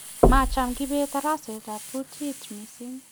macham kibet daraset ab kutit mising